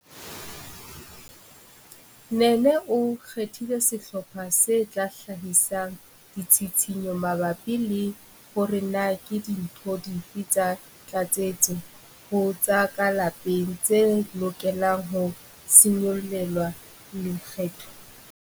Nene o kgethile sehlopha se tla hlahisang ditshitshinyo mabapi le hore na ke dintho dife tsa tlatsetso ho tsa ka lapeng tse lokelang ho se nyollelwe lekgetho.